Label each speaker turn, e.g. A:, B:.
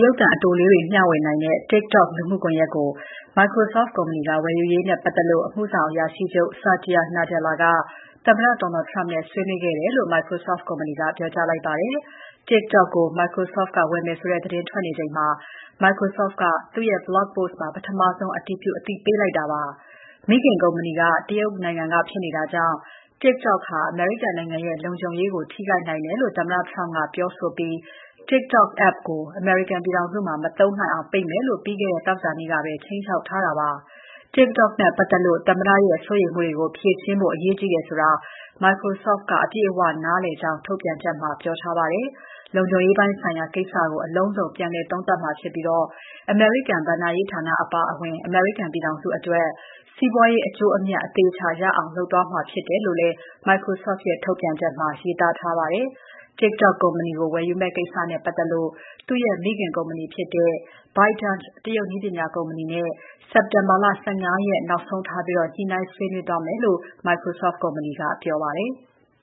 A: ရုပ်သံအတိုလေးတွေ မ ျှဝေနိုင်တဲ့ TikTok လူမှုကွန်ယက်ကို Microsoft ကုမ္ပဏီက ဝယ်ယူရေးနဲ့ ပတ်သက်လို့ အမှုဆောင်အရာရှိချုပ် Satya Nadella က သမ္မတ Donald Trump နဲ့ ဆွေးနွေးခဲ့တယ်လို့ Microsoft ကုမ္ပဏီက ပြောကြားလိုက်ပါတယ်။ TikTok ကို Microsoft ကဝယ်မယ်ဆိုတဲ့ သတင်းထွက်နေချိန်မှာ Microsoft က သူ့ရဲ့ Blog post မှာ ပထမဆုံး အတည်ပြု အသိပေးလိုက်တာလည်း ဖြစ်ပါတယ်။ မိခင်ကုမ္ပဏီက တရုတ်နိုင်ငံကဖြစ်နေတာကြောင့် TikTok ဟာ အမေရိကန်နိုင်ငံရဲ့ လုံခြုံရေးကို ထိခိုက်နိုင်တယ်လို့ သမ္မတ Trump ကပြောဆိုပြီး TikTok app ကို အမေရိကန်ပြည်ထောင်စုမှာ မသုံးနိုင်အောင် ပိတ်မယ်လို့ ပြီးခဲ့တဲ့ သောကြာနေ့ကပဲ ခြိမ်းခြောက်ထားတာပါ။ TikTok နဲ့ပတ်သက်လို့ သမ္မတရဲ့ စိုးရိမ်မှုတွေကို ဖြေရှင်းဖို့ အရေးကြီးတယ်ဆိုတာ Microsoft က အပြည့်အဝ နားလည်ကြောင်း ထုတ်ပြန်ချက်မှာ ပြောထားပါတယ်။ လုံခြုံရေးပိုင်းဆိုင်ရာကိစ္စကို အလုံးစုံ ပြန်လည်သုံးသပ်မှာဖြစ်ပြီး အမေရိကန်ဘဏ္ဍာရေးဌာနအပါအဝင် အမေရိကန်ပြည်ထောင်စုအတွက် စီးပွားရေး အကျိုးအမြတ် အသေအချာ ရအောင်လုပ်သွားမှာဖြစ်တယ်လို့လည်း Microsoft ရဲ့ ထုတ်ပြန်ချက်မှာ ရေးထားပါတယ်။ TikTok ကုမ္ပဏီကို ဝယ်ယူမယ့်ကိစ္စကို သူ့ရဲ့ မိခင်ကုမ္ပဏီဖြစ်တဲ့ ByteDance တရုတ်နည်းပညာကုမ္ပဏီနဲ့ စက်တင်ဘာ ၁၅ ရက် နောက်ဆုံးထားပြီး ညှိနှိုင်း ဆွေးနွေးသွားမယ်လို့ Microsoft ကုမ္ပဏီက ပြောပါတယ်။